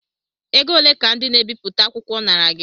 Ego ole ka ndị na-ebipụta akwụkwọ nara gị?